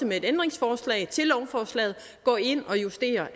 med et ændringsforslag til lovforslaget går ind og justerer